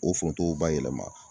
O foronto o bayɛlɛma.